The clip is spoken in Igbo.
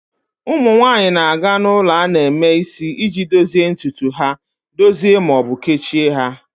Ụmụ nwanyị na-aga ulo a na-eme isi iji dozie ntutu ha, dozie ma ọ bụ kechie ha.